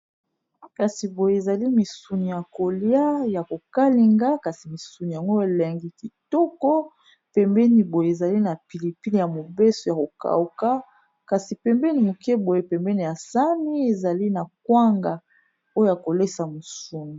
Kasi boye ezali misuni ya kolia ya kokalinga kasi misuni yango elengi kitoko pembeni boye ezali na pilipili ya mobeso ya kokauka kasi pembeni moke boye pembeni ya sani ezali na kwanga oyo ya kolekisa misuni.